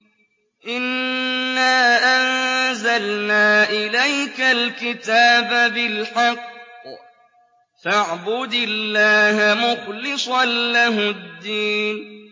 إِنَّا أَنزَلْنَا إِلَيْكَ الْكِتَابَ بِالْحَقِّ فَاعْبُدِ اللَّهَ مُخْلِصًا لَّهُ الدِّينَ